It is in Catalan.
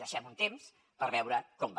deixem un temps per veure com va